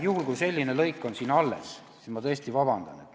Juhul kui selline lõik on siin alles, siis ma tõesti palun vabandust.